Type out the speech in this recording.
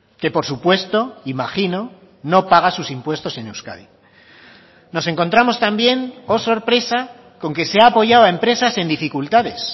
que por supuesto imagino no paga sus impuestos en euskadi nos encontramos también oh sorpresa con que se ha apoyado a empresas en dificultades